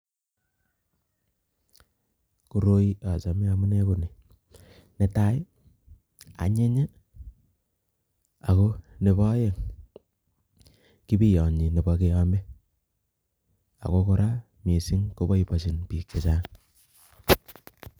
Koroi achame amune ko ni. Ne tai, anyiny, ago nebo aeng' kibiyonyi nebo keame. Ago kora missing koboibochin biik chechang'